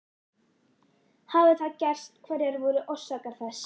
Hafi það gerst hverjar voru orsakir þess?